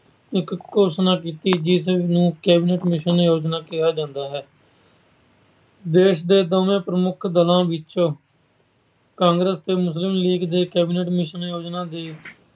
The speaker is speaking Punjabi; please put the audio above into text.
ਇੱਕ ਘੋਸ਼ਣਾ ਕੀਤੀ। ਜਿਸਨੂੰ Cabinet Mission ਯੋਜਨਾ ਕਿਹਾ ਜਾਂਦਾ ਹੈ। ਦੇਸ਼ ਦੇ ਦੋਵੇਂ ਪ੍ਰਮੁੱਖ ਦਲਾਂ ਵਿੱਚ ਕਾਂਗਰਸ ਤੇ ਮੁਸਲਿਮ ਲੀਗ ਦੇ Cabinet Mission ਯੋਜਨਾ ਦੇ